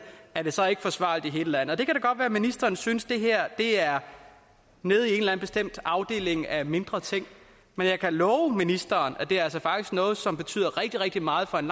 er det så ikke forsvarligt i hele landet det kan da godt være ministeren synes det her er nede i en eller anden bestemt afdeling af mindre ting men jeg kan love ministeren at det altså faktisk er noget som betyder rigtig rigtig meget for en